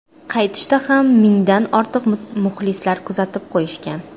Qaytishda ham mingdan ortiq muxlislar kuzatib qo‘yishgan.